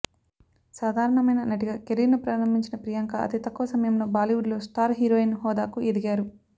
సాధారణమైన నటిగా కెరీర్ను ప్రారంభించిన ప్రియాంక అతి తక్కువ సమయంలో బాలీవుడ్లో స్టార్ హీరోయిన్ హోదాకు ఎదిగారు